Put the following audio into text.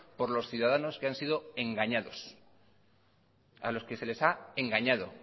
por los ciudadanos que han sido engañados a los que se les ha engañado